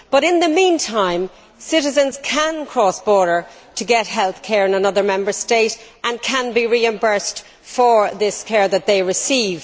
But, in the meantime, citizens can cross borders to get healthcare in another Member State and can be reimbursed for the care that they receive.